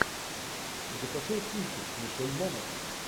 закачай кинчик с мишель монахэн